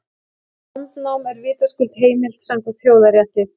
Landnám er vitaskuld heimilt samkvæmt þjóðarétti.